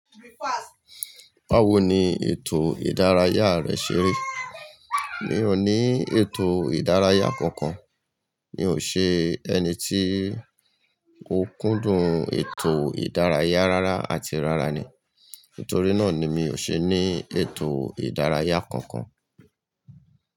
Báwo ni ètò ìdárayá rẹ ṣe ri? Mi ò ní ètò ìdárayá kankan. Mi ò ṣe ẹni tí ó kúndùn ètò ìdárayá rárá àti rára ni, nítorí náà ni mi ò ṣe ní ètò ìdárayá kankan.